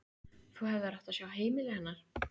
Þú hefðir átt að sjá heimili hennar.